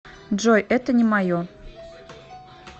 джой это не мое